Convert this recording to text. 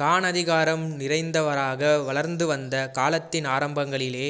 கான் அதிகாரம் நிறைந்தவராக வளர்ந்து வந்த காலத்தின் ஆரம்பங்களில்